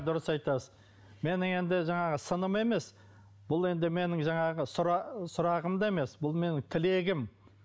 дұрыс айтасыз менің енді жаңағы сыным емес бұл енді менің жаңағы сұрағым да емес бұл менің тілегім